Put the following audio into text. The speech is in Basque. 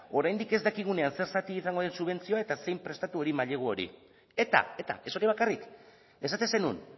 oraindik ez dakigunean zer zatik izango duen subentzioa eta zein prestatu hori mailegu hori eta eta ez hori bakarrik esaten zenuen